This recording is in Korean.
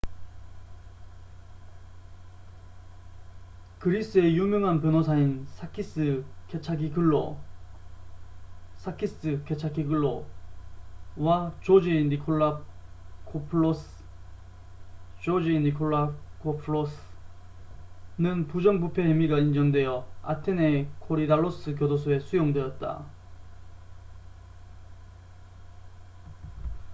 그리스의 유명한 변호사인 사키스 케차기글로sakis kechagioglou와 조지 니콜라코풀로스george nikolakopoulos는 부정부패 혐의가 인정되어 아테네의 코리달로스 교도소에 수용되었다